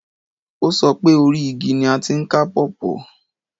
O so pé 'orí igi ni a ti ń ká pọ́pọ̀'